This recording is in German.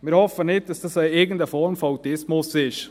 Wir hoffen nicht, dass dies irgendeine Form von Autismus ist.